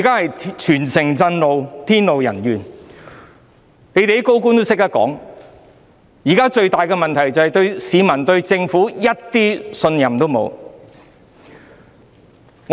現在全城震怒，天怒人怨，連有些高官也說，現時最大的問題是市民對政府一點信任也沒有。